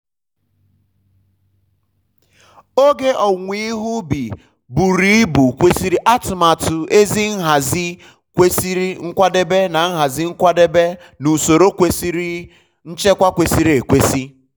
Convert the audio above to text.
um oge owuwe ihe ubi buru um ibu kwesịrị atụmatụ ezi nhazi nkwadebe na nhazi nkwadebe na um usoro nchekwa kwesịrị ekwesị.